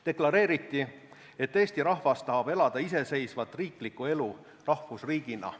Deklareeriti, et Eesti rahvas tahab elada iseseisvat riiklikku elu rahvusriigina.